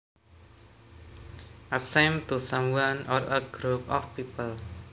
A shame to someone or a group of people